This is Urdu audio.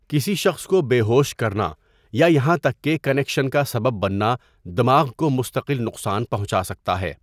کسی شخص کو بے ہوش کرنا یا یہاں تک کہ کنکشن کا سبب بننا دماغ کو مستقل نقصان پہنچا سکتا ہے۔